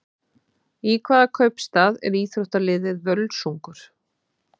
Í hvaða kaupstað er íþróttaliðið Völsungur?